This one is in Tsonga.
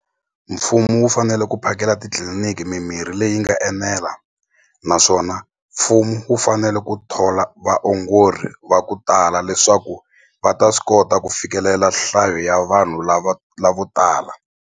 Mfumo wu fanele ku phakela titliliniki mimirhi leyi nga enela naswona mfumo wu fanele ku thola vaongori va ku tala leswaku va ta swi kota ku fikelela nhlayo ya vanhu lava lavo tala.